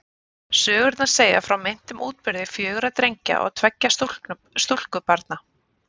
Sögurnar segja frá meintum útburði fjögurra drengja og tveggja stúlkubarna.